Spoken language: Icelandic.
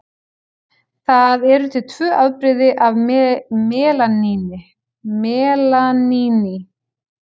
Það eru til tvö afbrigði af melaníni.